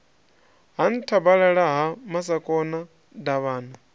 ha nthabalala ha masakona davhana